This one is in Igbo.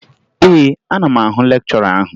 Ee, ana m ahụ lekchọra ahụ